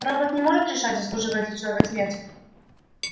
робот не может решать заслуживает ли человек смерти